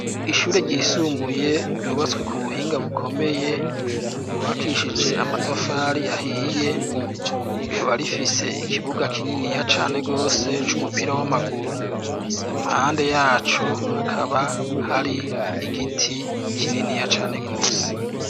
Ishure ryisumbuye ryubatswe ku buhinga bukomeye, ryubakishije amatafari ahiye, rikaba rifise ikibuga kininiya cane gose c'umupira w'amaguru, impande yaco hakaba hari igiti kininiya cane gose.